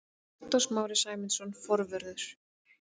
Viktor Smári Sæmundsson, forvörður.